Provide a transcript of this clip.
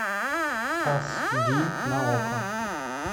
ас ди на окко